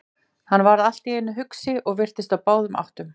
Hann varð allt í einu hugsi og virtist á báðum áttum.